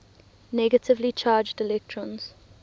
negatively charged electrons